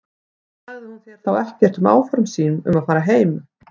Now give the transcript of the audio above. Sagði hún þér þá ekkert um áform sín um að fara að heiman?